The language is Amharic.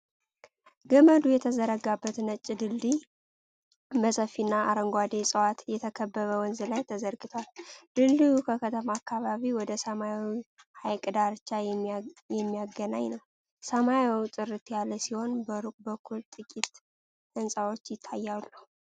ገመድ የተዘረጋበት ነጭ ድልድይ በሰፊና አረንጓዴ ዕፅዋት በተከበበ ወንዝ ላይ ተዘርግቷል። ድልድዩ ከከተማ አካባቢ ወደ ሰማያዊው ሐይቅ ዳርቻ የሚያገናኝ ነው። ሰማዩ ጥርት ያለ ሲሆን፣ በሩቅ በኩል ጥቂት ሕንጻዎች ይታያሉ።